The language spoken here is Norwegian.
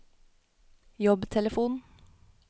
jobbtelefon